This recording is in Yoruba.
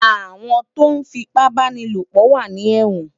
Awòn tó fipàbánilópò wà ni èwòn